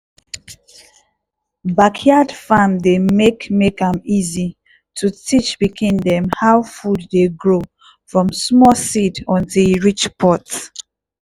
backyard farm dey make make am easy to teach pikin dem how food dey grow from small seed until e reach pot.